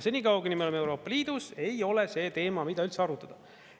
Senikaua, kuni me oleme Euroopa Liidus, ei ole see teema, mida üldse arutada.